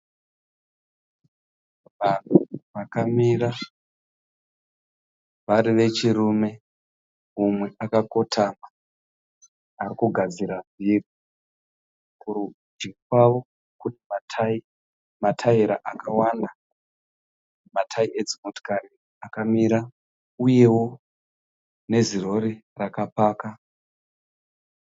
Vanhu vakamira vari vechirume, umwe akakotama arikugadzira vhiri. Kurudyi kwavo kune matayi, mataira akawanda, matayi edzimotikari akamira uyewo nezirori rakapaka.